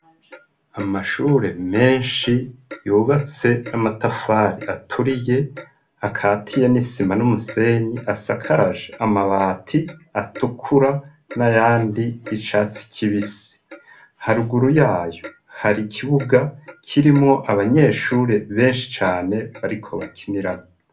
Amashure menshi yubatse n'amatafari aturiye akatiye n'isima n'umusenyi asakaje amabati atukura n'ayandi y'icatsi kibisi, haruguru yayo hari ikibuga kirimwo abanyeshure benshi cane bariko bakiniramwo.